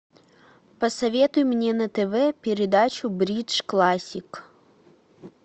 посоветуй мне на тв передачу бридж классик